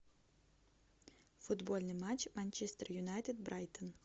футбольный матч манчестер юнайтед брайтон